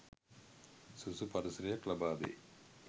සුදුසු පරිසරයක් ලබාදේ